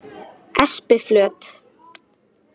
Espiflöt